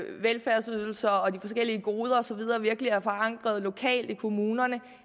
velfærdsydelser og de forskellige goder og så videre virkelig er forankret lokalt i kommunerne